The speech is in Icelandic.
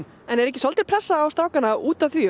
en er ekki svolítil pressa á strákana út af því